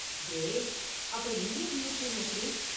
Great, அப்ப Indian museum எப்படி?